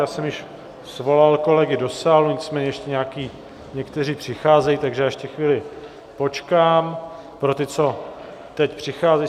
Já jsem již svolal kolegy do sálu, nicméně ještě někteří přicházejí, takže já ještě chvíli počkám pro ty, co teď přicházejí.